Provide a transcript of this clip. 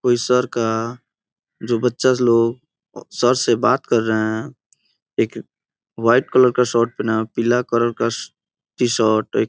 कोई सर का जो बच्चा लोग सर से बात कर रहे हैं एक वाइट कलर का शर्ट पेहना है एक पीला कलर का टी-शर्ट एक --